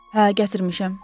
Hə, gətirmişəm.